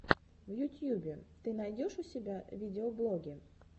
в ютьюбе ты найдешь у себя видеоблоги